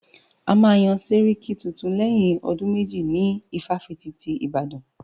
A máa yán sẹ́ríkí tuntun lẹ́yìn ọdún méjì ní ifáfitì ti Ìbàdàn.